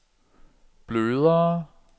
blødere